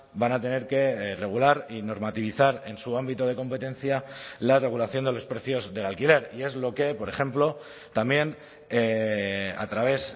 van a tener que regular y normativizar en su ámbito de competencia la regulación de los precios del alquiler y es lo que por ejemplo también a través